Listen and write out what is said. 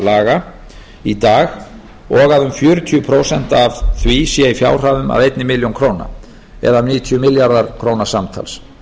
laga í dag og að um fjörutíu prósent af því sé í fjárhæðum að ein milljón króna eða um níutíu milljarðar króna samtals